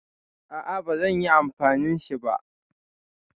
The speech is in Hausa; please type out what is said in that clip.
Aa bazanyi amfani shi ba